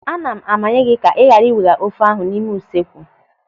"Ana m amanye gị ka ị ghara iwega ofe ahụ n'ime usekwu.